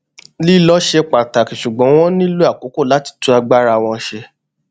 lílọ ṣe pàtàkì ṣugbọn wọn nílò àkókò láti tún agbára wọn ṣe